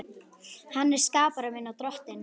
Hann er skapari minn og Drottinn.